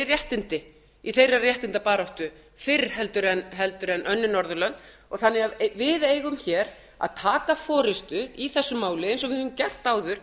réttindi í þeirra réttindabaráttu fyrr heldur en önnur norðurlönd þannig að við eigum að taka forustu í þessu máli eins og við höfum gert áður